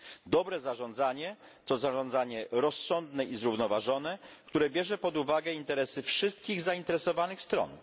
Dobre zarządzanie to zarządzanie rozsądne i zrównoważone, które bierze pod uwagę interesy wszystkich zainteresowanych stron.